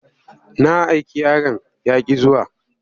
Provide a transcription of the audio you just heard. Na aiki yaron ya ƙi zuwa.